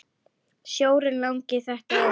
Sjórinn langi þetta er.